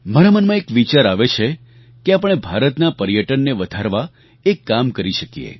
મારા મનમાં એક વિચાર આવે છે કે આપણે ભારતના પર્યટનને વધારવા એક કામ કરી શકીએ